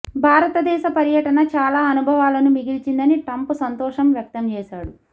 భారతదేశ పర్యటన చాలా అనుభవాలను మిగిల్చిందని ట్రంప్ సంతోషం వ్యక్తం చేసాడు